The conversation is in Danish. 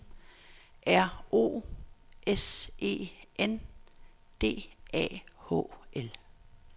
R O S E N D A H L